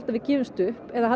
að við gefumst upp eða að